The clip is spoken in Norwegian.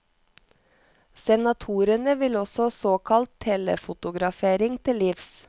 Senatorene vil også såkalt telefotografering til livs.